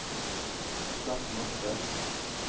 slett mappe